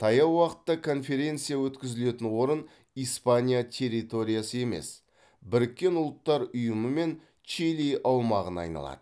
таяу уақытта конференция өткізілетін орын испания территориясы емес біріккен ұлттар ұйымы мен чили аумағына айналады